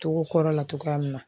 Togo kɔrɔ la cogoya min na